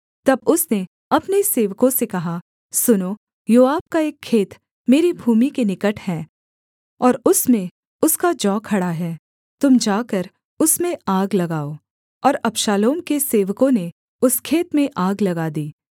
तब उसने अपने सेवकों से कहा सुनो योआब का एक खेत मेरी भूमि के निकट है और उसमें उसका जौ खड़ा है तुम जाकर उसमें आग लगाओ और अबशालोम के सेवकों ने उस खेत में आग लगा दी